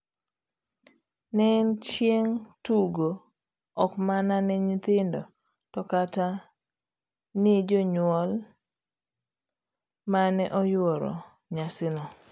Ne en chieng' tugo ok mana ne nyithindo to kata ni jonyuol mane oyuoro nyasino.